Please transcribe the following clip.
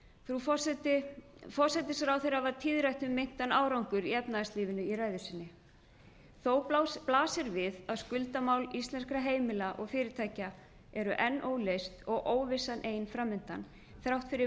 frú forseti forsætisráðherra var tíðrætt um meintan árangur í efnahagslífinu í ræðu sinni þó blasir við að skuldamál íslenskra heimila og fyrirtækja eru enn óleyst og óvissan ein fram undan þrátt fyrir